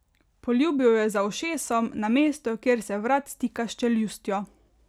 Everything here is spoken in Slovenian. Poljubil jo je za ušesom, na mesto, kjer se vrat stika s čeljustjo.